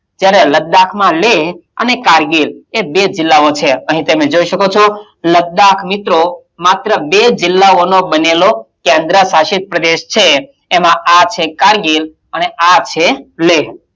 જ્યારે લદ્દાક માં લેહ અને કારગિલ એ બે જિલ્લાઑ છે અહીં તમે જોઈ શકો છો લદ્દાક મિત્રો, માત્ર બે જિલ્લાઓનો બનેલો કેન્દ્ર્શાસિત પ્રદેશ છે. એમાં આ છે કારગિલ અને આ છે લેહ.